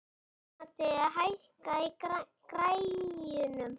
Amadea, hækkaðu í græjunum.